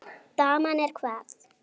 Daman er hvað.